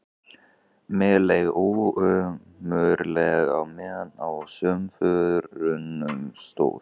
Mér leið ömurlega á meðan á samförunum stóð.